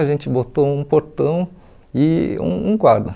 A gente botou um portão e um um guarda.